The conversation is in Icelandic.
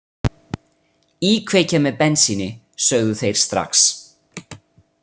Íkveikja með bensíni, sögðu þeir strax.